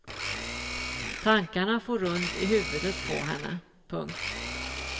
Tankarna for runt i huvudet på henne. punkt